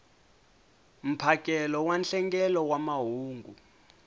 mphakelo wa nhlengelo wa mahungu